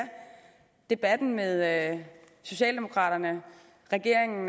debatten med socialdemokraterne regeringen